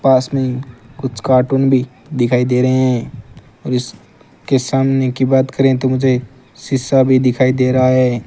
पास में कुछ कार्टून भी दिखाई दे रहे हैं और इस के सामने की बात करें तो मुझे शीशा भी दिखाई दे रहा है।